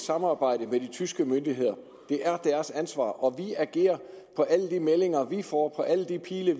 samarbejde med de tyske myndigheder det er deres ansvar og vi agerer på alle de meldinger vi får på alle de pile